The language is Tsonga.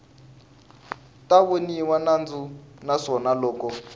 ta voniwa nandzu naswona loko